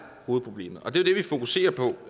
hovedproblemet og det er det vi fokuserer på